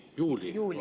Juulil.